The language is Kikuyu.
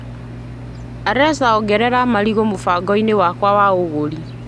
Alesa ongerera marigũ mũbango-inĩ wakwa wa ũgũri .